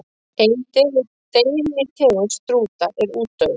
Ein deilitegund strúta er útdauð.